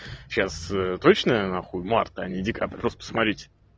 сейчас точно нахуй март а не декабырь просто посмотрите